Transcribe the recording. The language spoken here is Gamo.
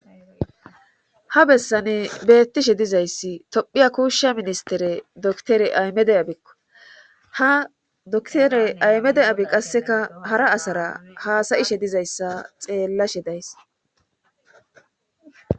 ha bessane bettishe dizayssi tophiya kuushsha ministere doktore aymede abekko ha doktore aymede abi qasseka hara asara haasayishe dizayssa xeellashe days